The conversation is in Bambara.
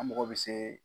An mago bɛ se